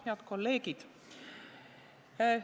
Head kolleegid!